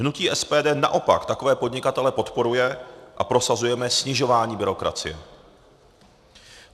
Hnutí SPD naopak takové podnikatele podporuje a prosazujeme snižování byrokracie.